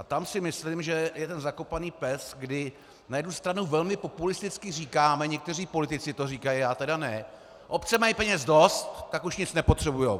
A tam si myslím, že je ten zakopaný pes, kdy na jednu stranu velmi populisticky říkáme - někteří politici to říkají, já tedy ne - obce mají peněz dost, tak už nic nepotřebují.